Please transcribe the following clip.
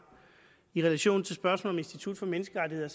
i relation til spørgsmålet om institut for menneskerettigheder